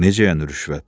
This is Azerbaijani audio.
Necə yəni rüşvət?